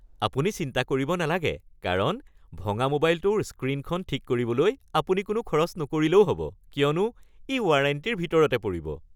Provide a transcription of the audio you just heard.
আপুনি চিন্তা কৰিব নালাগে কাৰণ ভঙা মোবাইলটোৰ স্ক্ৰীণখন ঠিক কৰিবলৈ আপুনি কোনো খৰচ নকৰিলেও হ’ব কিয়নো ই ৱাৰেণ্টিৰ ভিতৰতে পৰিব।